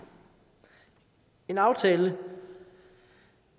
en aftale